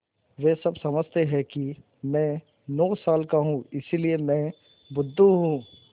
वे सब समझते हैं कि मैं नौ साल का हूँ इसलिए मैं बुद्धू हूँ